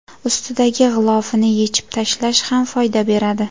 Ustidagi g‘ilofini yechib tashlash ham foyda beradi.